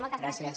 moltes gràcies